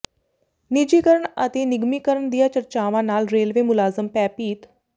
ਨਿੱਜੀਕਰਨ ਅਤੇ ਨਿਗਮੀਕਰਨ ਦੀਆਂ ਚਰਚਾਵਾਂ ਨਾਲ ਰੇਲਵੇ ਮੁਲਾਜ਼ਮ ਭੈਅਭੀਤ